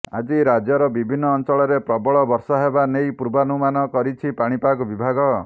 ଆଜି ରାଜ୍ୟର ବିଭିନ୍ନ ଅଞ୍ଚଳରେ ପ୍ରବଳ ବର୍ଷା ହେବା ନେଇ ପୂର୍ବାନୁମାନ କରିଛି ପାଣିପାଗ ବିଭାଗ